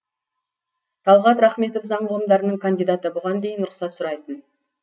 талғат рахметов заң ғылымдарының кандидаты бұған дейін рұқсат сұрайтын